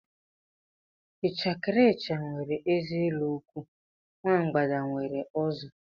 Ichekiricha nwe eze elu nkwu, nwa mbgada nwe uzo